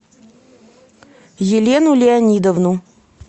елену леонидовну